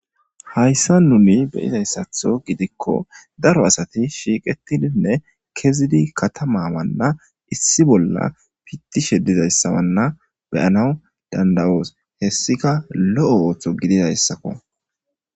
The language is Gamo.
hayssa nuni beyizayssatho gidikko daro asati shiiqetidinne kezidi katamawanna issi bolla pittishe dizayssawanna beyanaw danda'oos hessika lo7o ooththo gididayssakko